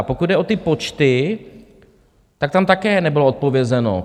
A pokud jde o ty počty, tak tam také nebylo odpovězeno.